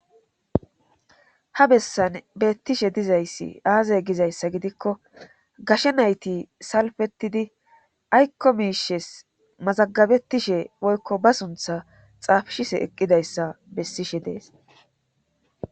Ha bessan beettishe dizayssi aazay gizayssa gidikko gashe nayti salfetidi ayko miishes mazagabetishe woykko ba suntha xaafshise eqqidayssa bessishe dees.